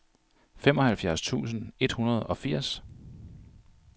femoghalvfjerds tusind et hundrede og firs